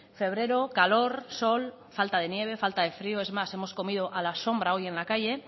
febrero calor sol falta de nieve falta de frio es más hemos comido a la sombra hoy en la calle